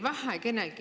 Aitäh!